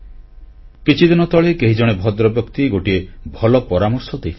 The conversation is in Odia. କିଛିଦିନ ତଳେ କେହିଜଣେ ଭଦ୍ରବ୍ୟକ୍ତି ଗୋଟିଏ ଭଲ ପରାମର୍ଶ ଦେଇଥିଲେ